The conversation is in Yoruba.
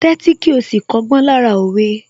Tẹ́tí kí ó sì kọ́gbọ́n lára òwe